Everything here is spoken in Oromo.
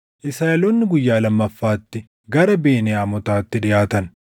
Israaʼeloonni guyyaa lammaffaatti gara Beniyaamotaatti dhiʼaatan.